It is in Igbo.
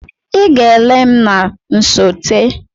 Ị ga-ele m na nsote!